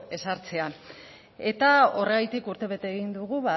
ezartzea eta horregatik urtebete egin dugu